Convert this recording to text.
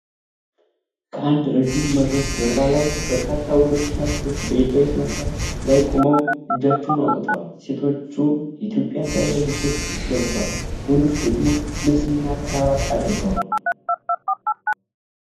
ከአንድ ረዥም መድረክ ጀርባ ላይ በርካታ ወንዶችና ሴቶች በይፋዊ ስነስርዓት ላይ ቆመው እጃቸውን አውጥተዋል። ሴቶቹ የኢትዮጵያን ባህላዊ ልብሶች ለብሰዋል፤ ወንዶቹ ደግሞ ልብስና ክራባት አድርገዋል።